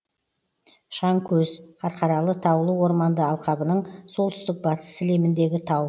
шаңкөз қарқаралы таулы орманды алқабының солтүстік батыс сілеміндегі тау